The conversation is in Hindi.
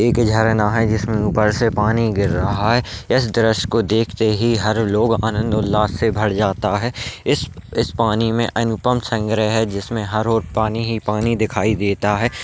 एक झरना है जिसमे ऊपर से पानी गिर रहा है इस दृशय को देख कर हर आदमी आंनद और उल्लास से भर जाता है इस इस पानी में अनुपम संग्रह है जिसमे हर और पानी ही पानी दिखाई देता है।